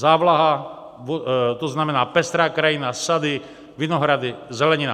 Závlaha, to znamená pestrá krajina, sady, vinohrady, zelenina.